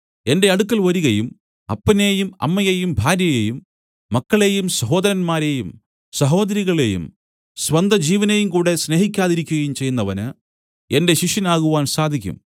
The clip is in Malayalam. എന്റെ അടുക്കൽ വരികയും അപ്പനെയും അമ്മയെയും ഭാര്യയെയും മക്കളെയും സഹോദരന്മാരെയും സഹോദരികളെയും സ്വന്തജീവനെയും കൂടെ സ്നേഹിക്കാതിരിക്കയും ചെയ്യുന്നവന് എന്റെ ശിഷ്യനാകുവാൻ സാധിക്കും